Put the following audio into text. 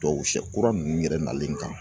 Dɔw sɛ kura ninnu yɛrɛ nalen kan